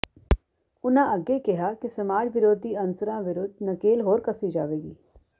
ਉਨ੍ਹਾਂ ਅੱਗੇ ਕਿਹਾ ਕਿ ਸਮਾਜ ਵਿਰੋਧੀ ਅਨਸਰਾਂ ਵਿਰੁੱਧ ਨਕੇਲ ਹੋਰ ਕੱਸੀ ਜਾਵੇਗੀ